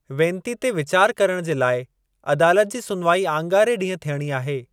वेनती ते वीचार करणु जे लाइ अदालत जी सुनवाई आङारे ॾींहं थियणी आहे।